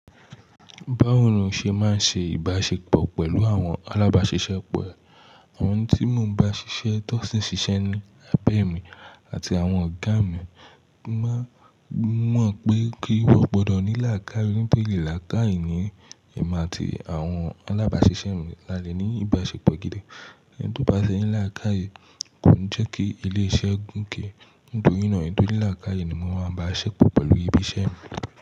Báwo ni o ṣe máa ń ṣe ìbáṣepọ̀ pẹ̀lú àwọn alábàáṣiṣẹ́ rẹ? Àwọn tí mo ń bá ṣiṣẹ́ tọ́sí ṣiṣẹ́ ni, abẹ̀mí àti àwọn ọ̀gá mi. Mo mọ̀ pé kí wọ́n gbọdọ̀ ní làákàye nitori laakaye ni ẹ̀mi àti àwọn alábáṣiṣẹ́ mi lálẹ́ ní ìbáṣepọ̀ gidi. Ẹni tó bá ti ní làákaye kò ní jẹ́ kí ilé iṣẹ́ gùn ké. Nítorí náà, èni to ní làákàye ni mo máa ń bá ṣepọ̀ pẹ̀lú ibi iṣẹ́ mi.